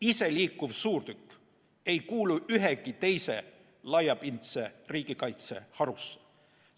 Iseliikuv suurtükk ei kuulu ühegi teise laiapindse riigikaitse harusse.